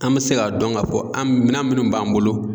An mɛ se k'a dɔn ka fɔ an minan minnu b'an bolo